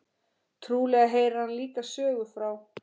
Trúlega heyrir hann líka sögu frá